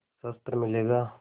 शस्त्र मिलेगा